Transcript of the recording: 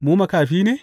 Mu ma makafi ne?